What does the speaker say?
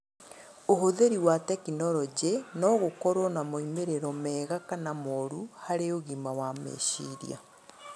Ũhũthĩri wa tekinoronjĩ no gũkorwo na moimĩrĩro mega kana mooru harĩ ũgima wa meciria.